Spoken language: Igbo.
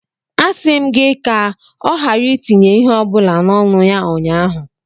A sị m gị ka ọ ghara itinye ihe ọ bụla n'ọnụ ya ụnyahụ.